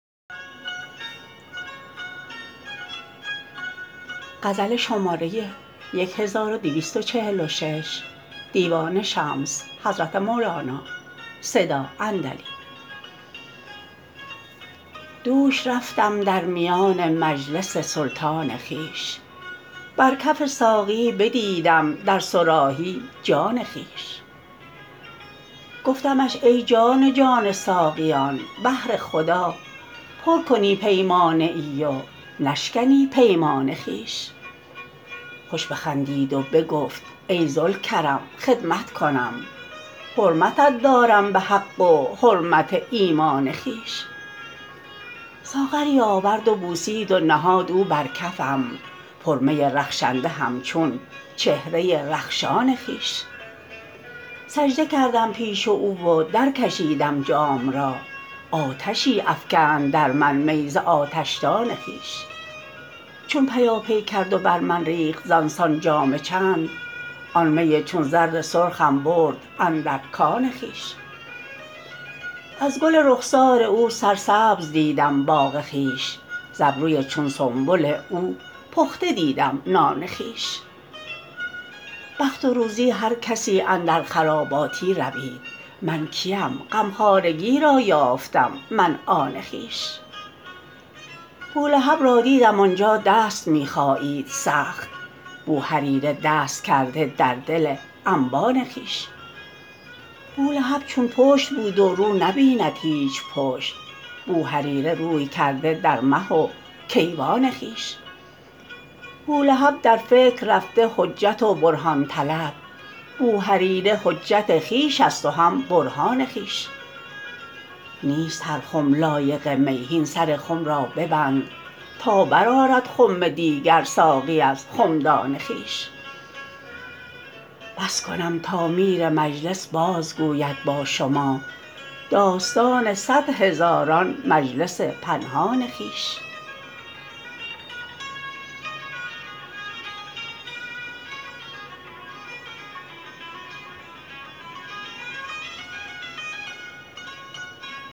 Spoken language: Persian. دوش رفتم در میان مجلس سلطان خویش بر کف ساقی بدیدم در صراحی جان خویش گفتمش ای جان جان ساقیان بهر خدا پر کنی پیمانه ای و نشکنی پیمان خویش خوش بخندید و بگفت ای ذوالکرم خدمت کنم حرمتت دارم به حق و حرمت ایمان خویش ساغری آورد و بوسید و نهاد او بر کفم پرمی رخشنده همچون چهره رخشان خویش سجده کردم پیش او و درکشیدم جام را آتشی افکند در من می ز آتشدان خویش چون پیاپی کرد و بر من ریخت زان سان جام چند آن می چون زر سرخم برد اندر کان خویش از گل رخسار او سرسبز دیدم باغ خویش ز ابروی چون سنبل او پخته دیدم نان خویش بخت و روزی هر کسی اندر خراباتی روید من کیم غمخوارگی را یافتم من آن خویش بولهب را دیدم آن جا دست می خایید سخت بوهریره دست کرده در دل انبان خویش بولهب چون پشت بود و رو نبیند هیچ پشت بوهریره روی کرده در مه و کیوان خویش بولهب در فکر رفته حجت و برهان طلب بوهریره حجت خویش است و هم برهان خویش نیست هر خم لایق می هین سر خم را ببند تا برآرد خم دیگر ساقی از خمدان خویش بس کنم تا میر مجلس بازگوید با شما داستان صد هزاران مجلس پنهان خویش